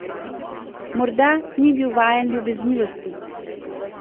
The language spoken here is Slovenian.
Morda ni bil vajen ljubeznivosti.